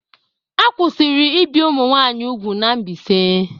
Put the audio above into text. A kwụsịrị ibi ụmụ nwanyị úgwù n'Mbaise.